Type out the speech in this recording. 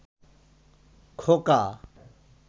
খোকা